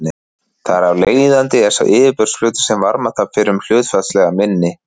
Þar af leiðandi er sá yfirborðsflötur sem varmatap fer um hlutfallslega minni.